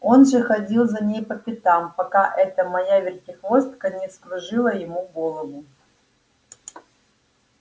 он же ходил за ней по пятам пока эта моя вертихвостка не вскружила ему голову